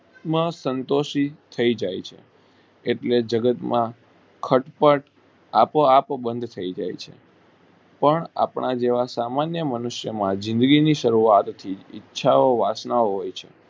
માં સંતોષી થઇ જાય છે એટલે જગત માં ખટપટ માં આપોઆપ બન્ધ થઇ જાય છે પણ આપણા જેવા સામાન્ય મનુષ્યો માં જિંદગી ની શરૂઆત થી ઈચ્છઓ ઓ વાંચના ઓ